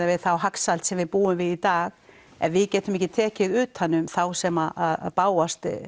við þá hagsæld sem við búum við í dag ef við getum ekki tekið utan um þá sem bágustu